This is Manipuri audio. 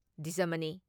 ꯗꯤꯖꯃꯅꯤ ꯫